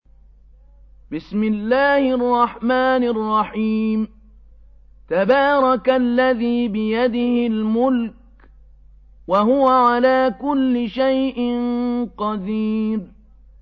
تَبَارَكَ الَّذِي بِيَدِهِ الْمُلْكُ وَهُوَ عَلَىٰ كُلِّ شَيْءٍ قَدِيرٌ